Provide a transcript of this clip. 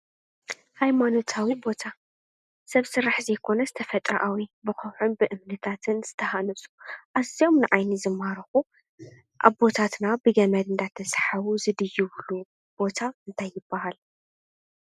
ሃይማኖታዊ ቦታ ሰብ ስራሕ ዘይኮነስ ተፈጥራዊ ብኸውሕን ብእምንታትን ዝተሃነፁ ኣዝዮም ንዓይኒ ዝማርኹ ኣቦታትና ብገመድ እናተሳሓቡ ዝድይብሉ ቦታ እንታይ ይበሃል?